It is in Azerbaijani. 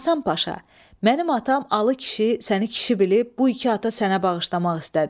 Həsən Paşa, mənim atam Alı kişi səni kişi bilib bu iki ata sənə bağışlamaq istədi.